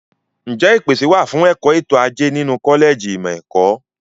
Ǹjẹ́ ìpèsè wà fún ẹ̀kọ́ ètò ajé nínú kọ́lẹ̀jì ìmọ̀ ẹ̀kọ́?